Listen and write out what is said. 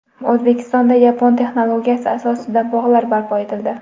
O‘zbekistonda yapon texnologiyasi asosida bog‘lar barpo etildi.